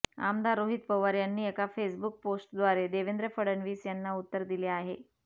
आमदार रोहित पवार यांनी एका फेसबुक पोस्ट द्वारे देवेंद्र फडणवीस यांना उत्तर दिले आहे